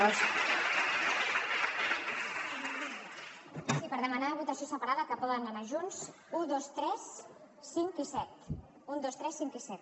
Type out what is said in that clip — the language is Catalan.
sí per demanar votació separada que poden anar junts un dos tres cinc i set un dos tres cinc i set